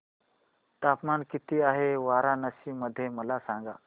तापमान किती आहे वाराणसी मध्ये मला सांगा